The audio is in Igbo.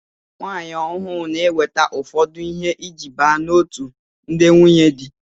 Nwaanyi ọhụụ n'eweta ụfọdụ ihe iji baa n'otu ndị nwunyedi.